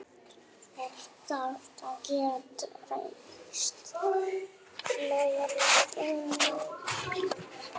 Fólk þarf að geta treyst galleríunum.